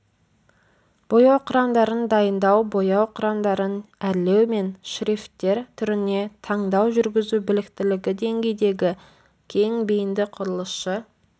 бояу құрамдарын дайындау бояу құрамдарын әрлеу мен шрифттер түріне таңдау жүргізу біліктілігі деңгейдегі кең бейінді құрылысшы